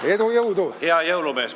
Hea jõulumees!